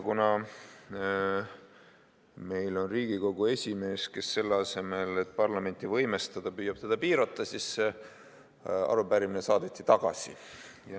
Kuna meil on Riigikogu esimees, kes selle asemel, et parlamenti võimestada, püüab seda piirata, siis saadeti see arupärimine tagasi.